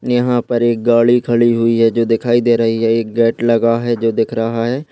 यहा पर एक गाड़ी खड़ी हुई है जो दिखाई दे रही है एक गेट लगा है जो दिख रहा है।